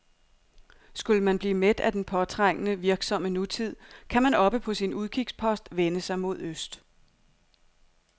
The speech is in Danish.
Skulle man blive mæt af den påtrængende, virksomme nutid, kan man oppe på sin udkigspost vende sig mod øst.